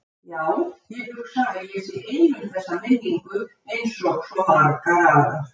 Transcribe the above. Já, ég hugsa að ég sé ein um þessa minningu einsog svo margar aðrar.